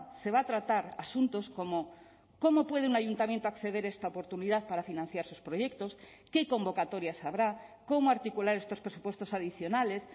se va a tratar asuntos como cómo puede un ayuntamiento acceder a esta oportunidad para financiar sus proyectos qué convocatorias habrá cómo articular estos presupuestos adicionales